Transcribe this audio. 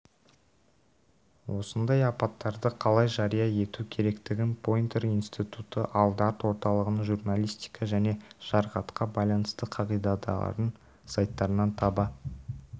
осындай апаттарды қалай жария ету керектігін пойнтер институты ал дарт орталығының журналистика және жарақатқа байланысты қағидадарын сайттарнан таба